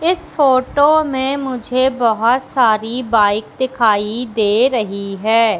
इस फोटो में मुझे बोहोत सारी बाइक दिखाई दे रही है।